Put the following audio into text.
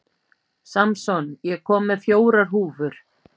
Samson, ég kom með fjórar húfur!